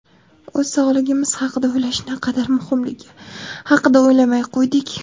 o‘z sog‘ligimiz haqida o‘ylash naqadar muhimligi haqida o‘ylamay qo‘ydik.